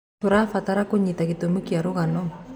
Tũrabatara kũnyita gĩtũmi kĩa rũgano.